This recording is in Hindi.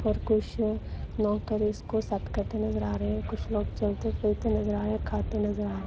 और कुछ नौकर इसको सेट करते नजर आ रहे हैं कुछ लोग चलते फिरते नजर आ रहे है खाते नजर आरे--